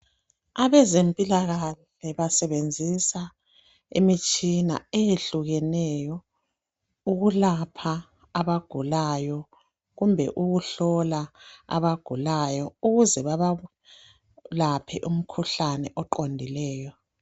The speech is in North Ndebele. Abezempilakahle basebenzisa imitshina eyehlukeneyo ukulapha abagulayo kumbe ukuhlola abagulayo ukuze babalaphe umkhuhlane oqondileyo